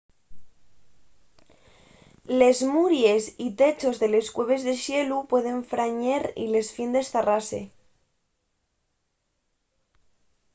les muries y techos de les cueves de xelu pueden frañer y les fiendes zarrase